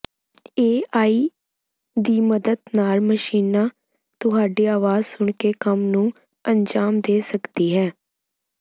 AI ਦੀ ਮਦਦ ਨਾਲ ਮਸ਼ੀਨਾਂ ਤੁਹਾਡੀ ਆਵਾਜ਼ ਸੁਣ ਕੇ ਕੰਮ ਨੂੰ ਅੰਜ਼ਾਮ ਦੇ ਸਕਦੀ ਹੈ